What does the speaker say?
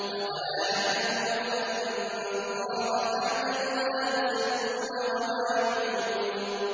أَوَلَا يَعْلَمُونَ أَنَّ اللَّهَ يَعْلَمُ مَا يُسِرُّونَ وَمَا يُعْلِنُونَ